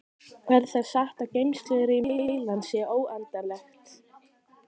Er það satt að geymslurými heilans sé óendanlegt?